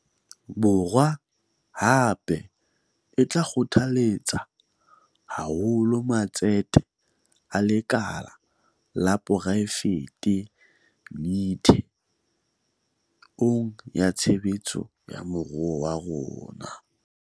Borwa, hape, e tla kgothaletsa haholo matsete a lekala la poraefete methe ong ya tshebetso ya moruo wa rona.